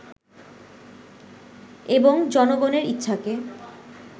এবং জনগনের ইচ্ছাকে